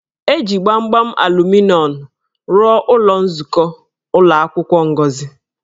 E ji gbamgbam aluminọmụ rụọ ụlọ nzukọ ụlọ akwụkwọ Ngozi.